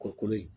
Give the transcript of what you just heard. Kɔkɔ in